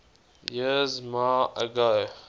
years ma ago